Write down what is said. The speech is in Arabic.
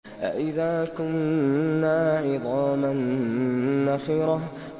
أَإِذَا كُنَّا عِظَامًا نَّخِرَةً